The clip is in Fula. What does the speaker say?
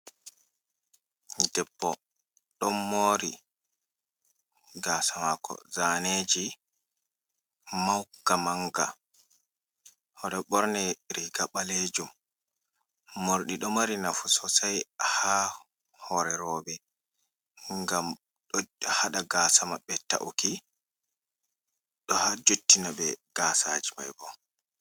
Debbo ɗon mori gasa mako zaneji manga manga oɗo ɓorni riga ɓalejum, morɗi ɗo mari nafu sosai ha hore roɓɓe ngam ɗo haɗa gasa maɓɓe ta’uki, ɗo ha jottina ɓe gasaji mai bo.